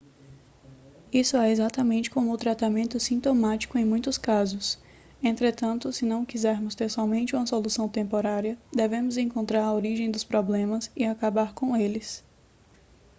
isso é exatamente como o tratamento sintomático em muitos casos entretanto se não quisermos ter somente uma solução temporária devemos encontrar a origem dos problemas e acabar com eles